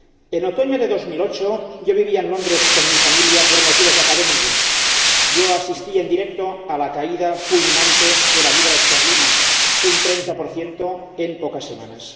En otoño de 2008 vivía en Londres con mi familia por motivos académicos y asistí en directo a la caída fulminante de la libra esterlina, un 30 en pocas semanas.